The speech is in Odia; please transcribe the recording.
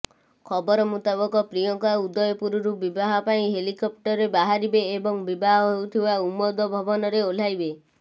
ଖବର ମୁତାବକ ପ୍ରିୟଙ୍କା ଉଦୟପୁରରୁ ବିବାହ ପାଇଁ ହେଲିକପ୍ଟରରେ ବାହାରିବେ ଏବଂ ବିବାହ ହେଉଥିବା ଉମୌଦ ଭବନରେ ଓହ୍ଲାଇବେ